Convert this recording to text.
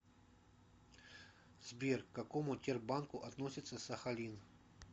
сбер к какому тербанку относится сахалин